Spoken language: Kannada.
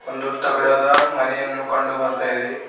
ಒಂದು ತಗಡದ ಮನೆಯನ್ನು ಕಂಡು ಬರ್ತಾ ಇದೆ.